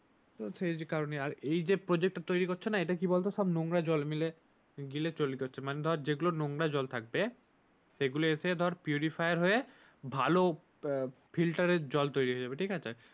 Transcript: এই কারনে আর এই যে প্রজেক্টটা তৈরি করছে না এটা কি বল তো পুরো নোংরা জল মিলে মিলে তৈরি করছে ধর যেগুলো নোংরা জল থাকবে সেগুলো হয়ে ভালো ফিল্টারের জল তৈরি হয়ে যাবে ঠিক আছে?